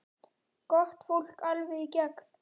Gott fólk, alveg í gegn.